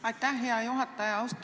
Aitäh, hea juhataja!